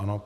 Ano.